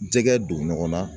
Jɛgɛ don ɲɔgɔnna